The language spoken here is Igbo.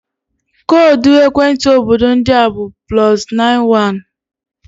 Koodu ekwentị obodo ndị a bụ +91.